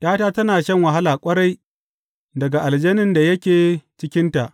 ’Yata tana shan wahala ƙwarai daga aljanin da yake cikinta.